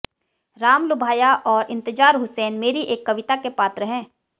रामलुभाया और इंतजार हुसैन मेरी एक कविता के पात्र हैं